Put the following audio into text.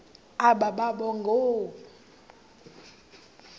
aba boba ngoo